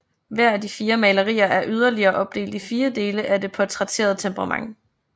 Hver af de fire malerier er yderligere opdelt i fire dele af det portrætterede temperament